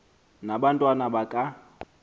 na abantwana baka